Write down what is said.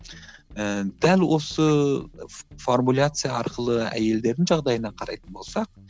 ііі дәл осы формуляция арқылы әйелдердің жағдайына қарайтын болсақ